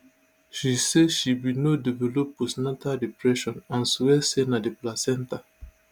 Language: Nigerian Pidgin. she say she bin no develop postnatal depression and swear say na di placenta